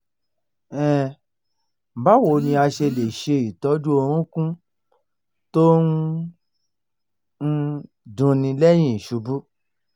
um báwo ni a ṣe lè se itoju orúnkún to n um dunni lẹ́yìn iṣubú?